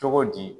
Cogo di